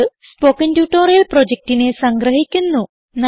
ഇത് spoken tutorial പ്രൊജക്റ്റിനെ സംഗ്രഹിക്കുന്നു